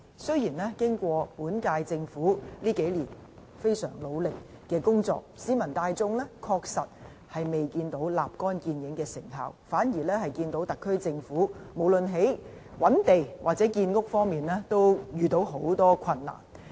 雖然本屆政府這幾年非常努力工作，但市民大眾確實未見到立竿見影的成效，反而見到特區政府無論在覓地或建屋方面都困難重重。